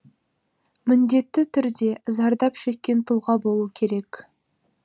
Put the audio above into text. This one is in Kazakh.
міндетті түрде зардап шеккен тұлға болу керек